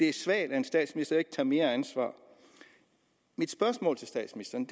er svagt at en statsminister ikke tager mere ansvar mit spørgsmål til statsministeren